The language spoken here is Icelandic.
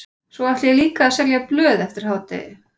Svo ætla ég líka að selja blöð eftir hádegi.